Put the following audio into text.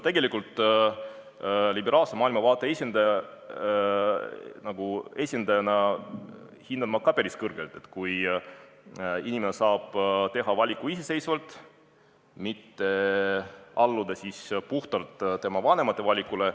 Liberaalse maailmavaate esindajana hindan ma päris kõrgelt seda, kui inimene saab teha valiku iseseisvalt, mitte ei pea alluma oma vanemate valikule.